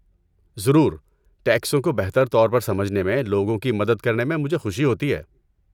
ضرور، ٹیکسوں کو بہتر طور پر سمجھنے میں لوگوں کی مدد کرنے میں مجھے خوشی ہوتی ہے۔